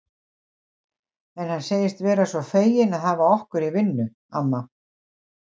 En hann segist vera svo feginn að hafa okkur í vinnu, amma